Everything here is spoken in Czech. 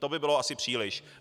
To by bylo asi příliš.